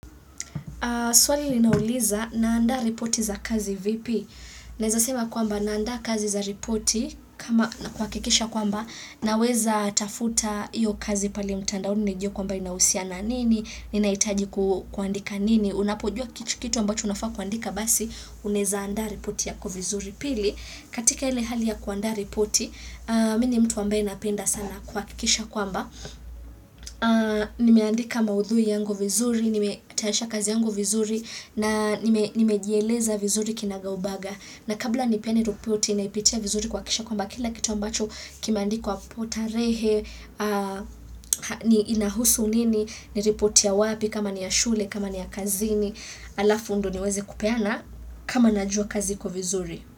Swali linauliza naanda repoti za kazi vipi?. Naeza sema kwamba naandaa kazi za repoti kama kuhakikisha kwamba naweza tafuta hiyo kazi pale mtandaoni nijue kwamba inahusiana nini, ninahitaji kuandika nini, unapojua kitu ambacho unafaa kuandika basi unaeza andaa repoti yako vizuri. Pili katika ile hali ya kuandaa repoti, mimi ni mtu ambaye napenda sana kuhakikisha kwamba. Nimeandika maudhui yangu vizuri nimetayarisha kazi yangu vizuri na nimejieleza vizuri kinagaubaga na kabla nipeane repoti naipitia vizuri kuhakisha kwamba kila kitu ambacho kimeandika hapo tarehe inahusu nini ni repoti ya wapi kama ni ya shule kama ni ya kazini alafu ndo niweze kupeana kama najua kazi kwa vizuri.